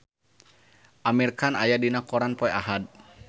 Amir Khan aya dina koran poe Ahad